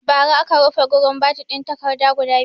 Ba ra aka rufe gurin bad'in takarda guda biyu